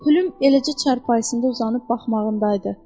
Pülüm eləcə çarpayısında uzanıb baxmağındaydı.